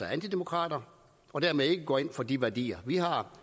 antidemokrater og dermed ikke går ind for de værdier vi har og